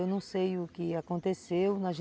Eu não sei o que aconteceu